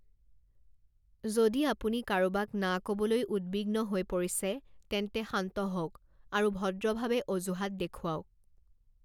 যদি আপুনি কাৰোবাক না ক'বলৈ উদ্বিগ্ন হৈ পৰিছে, তেন্তে শান্ত হওক আৰু ভদ্ৰভাৱে অজুহাত দেখুৱাওক৷